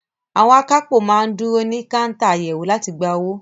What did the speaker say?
Àwọn akápò máa ń dúró sí káńtà àyẹ̀wò láti gba owó.